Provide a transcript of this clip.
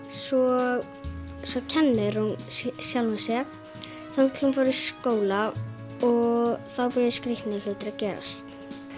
svo kennir hún sjálfri sér þangað til hún fer í skóla og þá byrja skrítnir hlutir að gerast